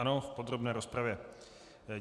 Ano, v podrobné rozpravě.